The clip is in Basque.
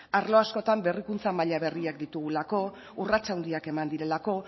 arlo askotan berrikuntza maila berriak ditugulako urrats handiak eman direlako